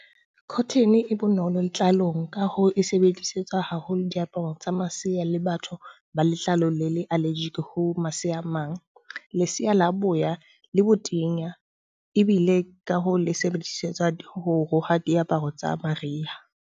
Cotton e e bonolo letlalong, ka hoo e sebedisetswa haholo diaparong tsa masea le batho ba letlalo le le allergy ho masea a mang. Leseya la boya le botenya ebile ka hoo le sebedisetswa ho roha diaparo tsa mariha.